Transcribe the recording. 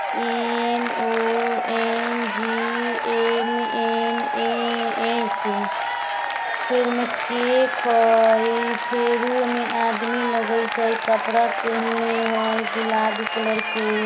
एम ओ एन जी एन एन ए एस फेर ओय में केक हय फिर ओय में आदमी लगैत हय कपड़ा पहिनले हय गुलाबी कलर के।